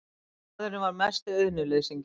Maðurinn var mesti auðnuleysingi.